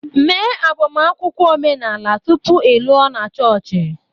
Mee agbamakwụkwọ omenala tupu ị lụọ na chọọchị